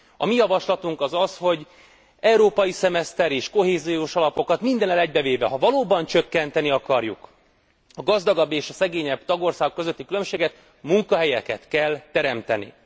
A mi javaslatunk az az, hogy európai szemeszter és kohéziós alapokat mindennel egybevéve, ha valóban csökkenteni akarjuk a gazdagabb és a szegényebb tagországok közötti különbséget, munkahelyeket kell teremteni.